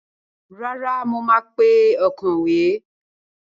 Rárá, mo máa pe òǹkọ̀wé.